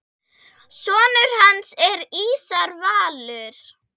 Sonur hans er Ísar Valur.